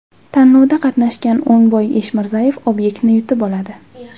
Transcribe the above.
Tanlovda qatnashgan O‘ngboy Eshmirzayev obyektni yutib oladi.